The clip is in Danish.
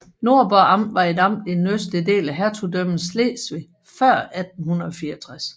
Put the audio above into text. Nordborg Amt var et amt i den østlige del af Hertugdømmet Slesvig før 1864